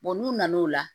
n'u nana o la